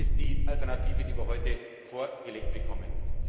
Das ist die Alternative, die wir heute vorgelegt bekommen.